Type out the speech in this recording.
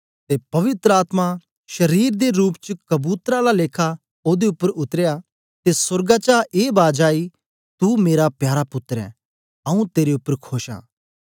ते पवित्र आत्मा शारीर दे रूप च कबूतर आला लेखा ओदे उपर उतरया ते सोर्गा चा ए बाज आई तू मेरा प्यारा पुत्तर ऐं आऊँ तेरे उपर खोश आं